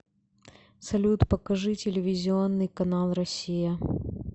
салют покажи телевизионный канал россия